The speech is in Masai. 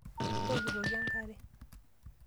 Intokitokie enkare?